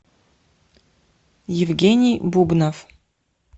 евгений бубнов